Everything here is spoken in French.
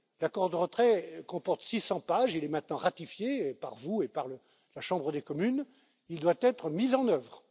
banalité. L'accord de retrait comporte 600 pages, il est maintenant ratifié par vous et par la Chambre des communes, il doit être mis